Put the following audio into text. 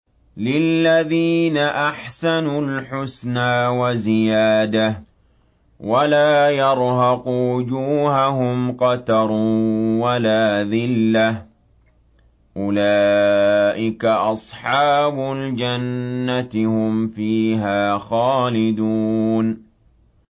۞ لِّلَّذِينَ أَحْسَنُوا الْحُسْنَىٰ وَزِيَادَةٌ ۖ وَلَا يَرْهَقُ وُجُوهَهُمْ قَتَرٌ وَلَا ذِلَّةٌ ۚ أُولَٰئِكَ أَصْحَابُ الْجَنَّةِ ۖ هُمْ فِيهَا خَالِدُونَ